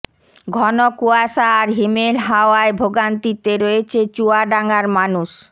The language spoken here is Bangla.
ঘন কুয়াশা আর হিমেল হাওয়ায় ভোগান্তিতে রয়েছে চুয়াডাঙ্গার মানুষ